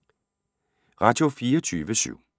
Radio24syv